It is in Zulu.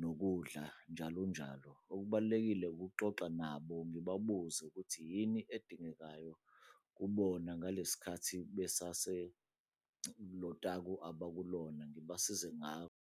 nokudla, njalonjalo. Okubalulekile ukuxoxa nabo ngibabuze ukuthi yini edingekayo kubona ngale sikhathi besase kulo taku abakulona ngibasize .